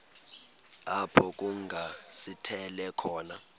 apho kungasithela khona